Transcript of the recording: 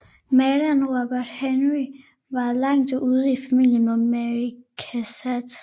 Maleren Robert Henri var langt ude i familie med Mary Cassatt